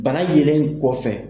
Bana yelen kɔfɛ